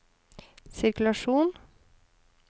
sirkulasjon